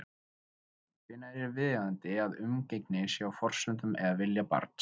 Hvenær er viðeigandi að umgengni sé á forsendum eða vilja barns?